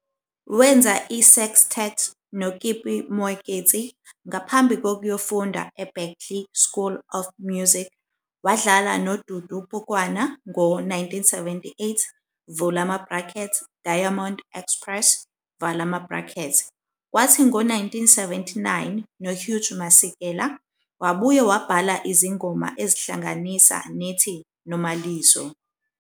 Wenza i-sextet noKippie Moeketsi, ngaphambi kokuyofunda eBerklee School of Music, wadlala noDudu Pukwana ngo-1978, Diamond Express, kwathi ngo-1979 noHugh Masekela, wabuye wabhala izingoma ezihlanganisa nethi "Nomalizo".